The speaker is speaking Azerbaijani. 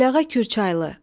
Əliağa Kürçaylı.